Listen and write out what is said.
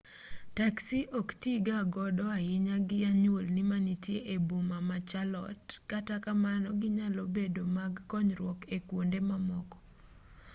taksi ok tiiga godo ahinya gi anyuolni manitie e boma ma charlotte kata kamano ginyalo bedo mag konyruok e kwonde mamoko